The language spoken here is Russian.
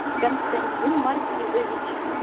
константин маркизович